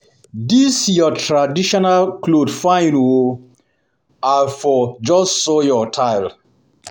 Dis your traditional cloth fine oo, I for just sew your style